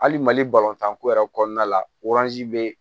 Hali mali ko yɛrɛ kɔnɔna la be